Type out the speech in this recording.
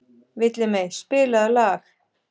Villimey, spilaðu lag.